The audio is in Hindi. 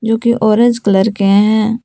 जोकि ऑरेंज कलर के है।